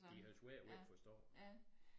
De har svært ved at forstå